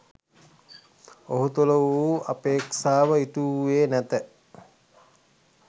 ඔහු තුළ වූ අපේක්ෂාව ඉටු වූයේ නැත